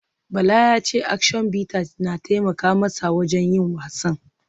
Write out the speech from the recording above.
Bala ya ce Action Bitters na taimaka masa wajen yin wasan